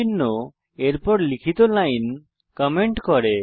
চিহ্ন এরপর লিখিত লাইন কমেন্ট করে